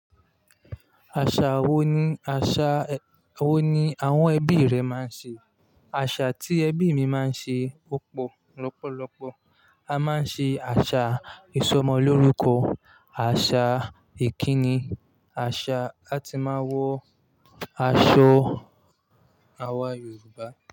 Àṣà wo ni àṣà wo ni àwọn ẹbí rẹ máa ń ṣe? Àṣà tí ẹbí mi máa ń ṣe púpọ̀ lọ́pọ̀lọpọ̀, a máa ń ṣe àṣà ìsọmọlórúkọ, àṣà ìkíni, àṣà a ti máa wọ aṣọ àwọn Yorùbá.